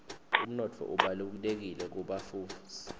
umnotfo ubalulekile kubafufusi